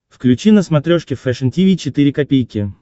включи на смотрешке фэшн ти ви четыре ка